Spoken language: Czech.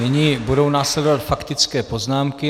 Nyní budou následovat faktické poznámky.